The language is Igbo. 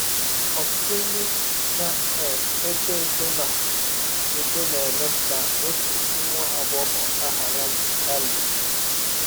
Ọtụtụ ndị na um - etọ etọ na - etọ na - eme ka ọtụ nwa agbọghọ aha ya bụ Hailey.